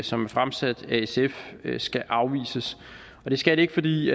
som er fremsat af sf skal afvises det skal det ikke fordi